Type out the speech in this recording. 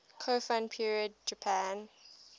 kofun period japan